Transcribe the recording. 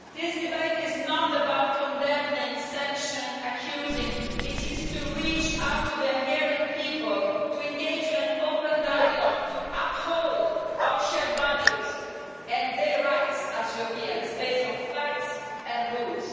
This debate is not about condemning, sanctioning and accusing. It is to reach out to the Hungarian people, to engage in an open dialogue and to uphold our shared values and their rights as Europeans, based on facts and rules.